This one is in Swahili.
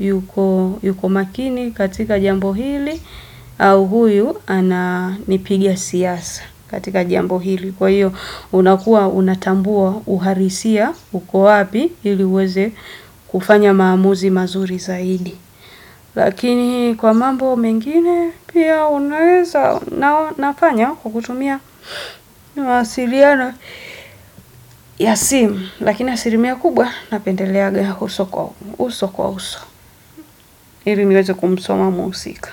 yuko makini katika jambo hili au huyu ananipigia siasa katika jambo hili. Kwa hiyo, unakua, unatambua, uharisia, uko wapi, ili uweze kufanya maamuzi mazuri zaidi. Lakini kwa mambo mengine, pia unaweza nafanya kwa kutumia mawasiliano ya simu. Lakini asilimia kubwa, napendeleaga uso kwa uso. Ili niweze kumsoma muhusika.